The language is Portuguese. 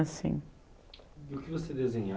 assim. O que você desenhava?